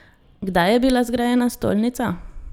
Kdaj je bila zgrajena stolnica?